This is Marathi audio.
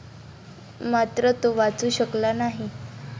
मात्र तो वाचू शकला नाही.